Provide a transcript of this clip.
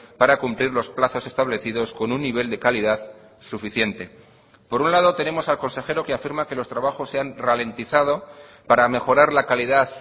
para cumplir los plazos establecidos con un nivel de calidad suficiente por un lado tenemos al consejero que afirma que los trabajos se han ralentizado para mejorar la calidad